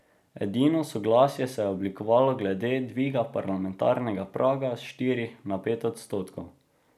Edino soglasje se je oblikovalo glede dviga parlamentarnega praga s štirih na pet odstotkov.